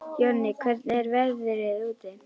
Jonni, hvernig er veðrið úti?